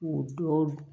U dɔw